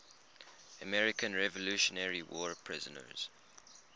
american revolutionary war prisoners